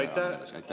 Aitäh!